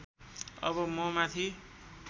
अब म माथि